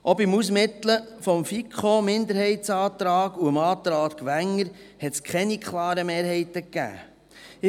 Auch beim Ausmitteln des FiKoMinderheitsantrags und des Antrags Wenger hat es keine klaren Mehrheiten gegeben.